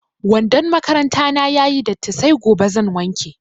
Wandon makaranta na ya yi datti sai gobe zan wanke.